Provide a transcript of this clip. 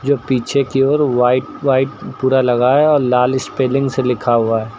पीछे की ओर व्हाइट व्हाइट पूरा लगाया और लाल स्पेलिंग से लिखा हुआ--